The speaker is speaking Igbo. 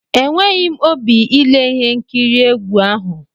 Enweghi m óbị ile ihe nkiri egwu ahụ!